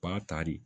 Ba ta de